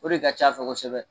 O de ka ca a fɛ kosɛbɛ